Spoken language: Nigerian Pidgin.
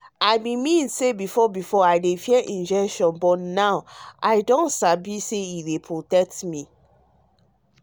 i mean say before before i dey fear injection but now i sabi say e dey protect me.